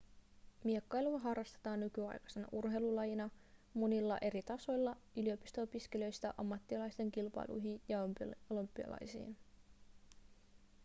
miekkailua harrastetaan nykyaikaisena urheilulajina monilla eri tasoilla yliopisto-opiskelijoista ammattilaisten kilpailuihin ja olympialaisiin